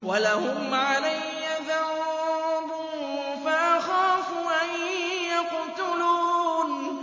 وَلَهُمْ عَلَيَّ ذَنبٌ فَأَخَافُ أَن يَقْتُلُونِ